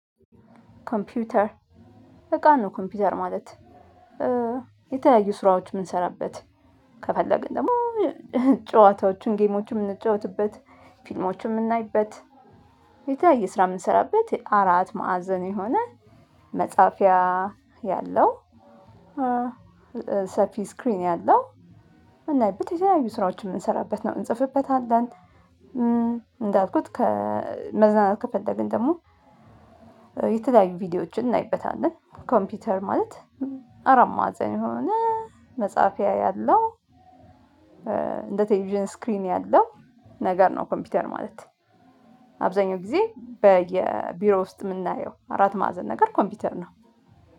ኮምፒውተር እቃ ነው። ኮምፒውተር ማለት የተለያዩ ስራዎች የምንሰራበት ከፈለግን ደግሞ ጨዋታዎቹን ጌሞችን የምንጫወትበት ፊልሞችን የምናይበት ስራ የምንሰራበት አራት ማዕዘን የሆነ መጽሐፊያ ያለው። ሰፊ ስክሪን አለው እና በተለያዩ ስራዎችን የምንሰራበት ነው እንጽፍበታለን። እንዳልኩት ከመዝናናት ከፈለግን ደግሞ የተለያዩ ቪዲዮዎችን እናይበታለን ኮምፒውተር ማለት አራት ማዕዘን የሆነ መጽሐፍ ያለው። እንደ ቴቪዥን ስክሪን ያለው ነገር ነው። ኮምፒውተር ማለት አብዛኛው ጊዜ በየቢሮ ውስጥ የምናየው አራት ማዕዘን ነገር ኮምፒውተር ነው።